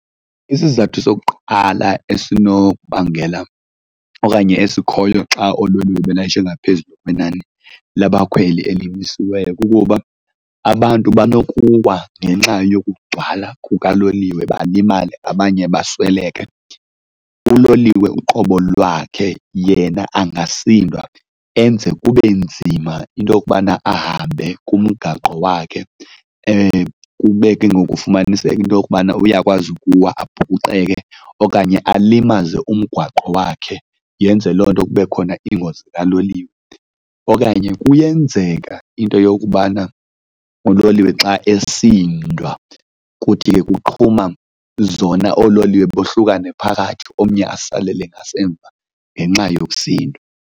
Isizathu sokuqala esenokubangela okanye esikhoyo xa oololiwe belayisha ngaphezu kwenani labakhweli elimisiweyo kukuba abantu banokuwa ngenxa yokugcwala kukaloliwe balimale abanye basweleke. Uloliwe uqobo lwakhe yena angasindwa enze kube nzima into yokubana ahambe kumgaqo wakhe kube ke ngoku kufumaniseka into yokubana uyakwazi ukuwa abhukuqeke okanye alimaze umgwaqo wakhe, yenze loo nto kube khona ingozi kaloliwe. Okanye kuyenzeka into yokubana uloliwe xa esindwa kuthi ke kuqhuma zona, oololiwe bohlukane phakathi omnye asalele ngasemva ngenxa yokusindwa.